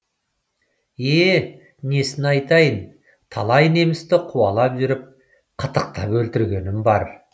е несін айтайын талай немісті қуалап жүріп қытықтап өлтіргенім бар